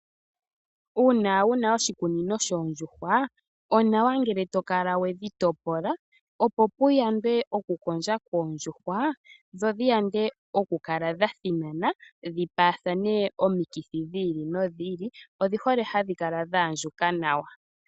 Uuna wuna oshikunino shoondjuhwa, onawa ngele to kala wedhi topola, opo ku yandwe oku kondja koondjuhwa, dho dhi yande oku kala dha thinana dhi paathane omikithi dhi ili nodhi ili. Odhi hole hadhi kala dha andjuka nawa.